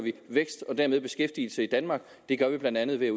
vækst og dermed beskæftigelse i danmark og det gør vi blandt andet ved